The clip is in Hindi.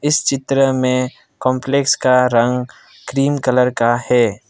इस चित्र में कॉम्प्लेक्स का रंग क्रीम कलर का है।